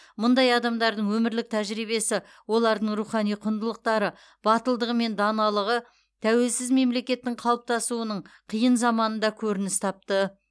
мұндай адамдардың өмірлік тәжірибесі олардың рухани құндылықтары батылдығы мен даналығы тәуелсіз мемлекеттің қалыптасуының қиын заманында көрініс тапты